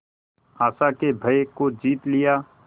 आशा के भय को जीत लिया